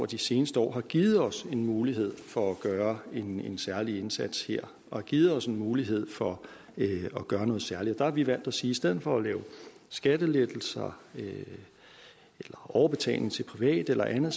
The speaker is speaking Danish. de seneste år har givet os en mulighed for at gøre en særlig indsats her har givet os en mulighed for at gøre noget særligt der har vi valgt at sige at i stedet for at give skattelettelser eller overbetaling til private eller andet